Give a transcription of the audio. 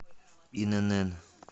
инн